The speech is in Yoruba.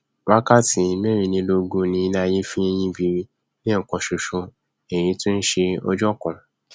wákàtí mẹrìnlélógún ni iléaiyé fi nyí biri lẹẹkan ṣoṣo èyí tí nṣe ọjọ kan